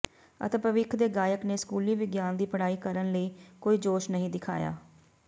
ਅਤੇ ਭਵਿੱਖ ਦੇ ਗਾਇਕ ਨੇ ਸਕੂਲੀ ਵਿਗਿਆਨ ਦੀ ਪੜ੍ਹਾਈ ਕਰਨ ਲਈ ਕੋਈ ਜੋਸ਼ ਨਹੀਂ ਦਿਖਾਇਆ